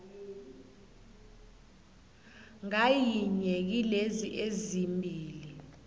ngayinye kilezi ezimbili